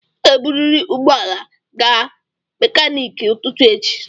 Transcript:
Ị ga-eburịrị ụgbọ ala a gaa mekaniki ụtụtụ echi.